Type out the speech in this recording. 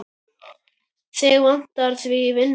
Mig vantar því vinnu.